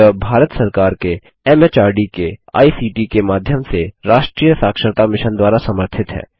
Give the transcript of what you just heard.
यह भारत सरकार के एमएचआरडी के आईसीटी के माध्यम से राष्ट्रीय साक्षरता मिशन द्वारा समर्थित है